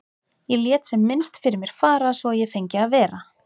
Ég lét sem minnst fyrir mér fara svo að ég fengi að vera.